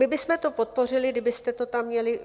My bychom to podpořili, kdybyste to tam měli.